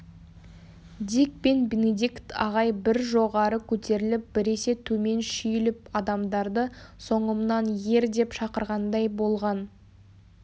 дик пен бенедикт ағай бір жоғары көтеріліп біресе төмен шүйіліп адамдарды соңымнан ер деп шақырғандай болған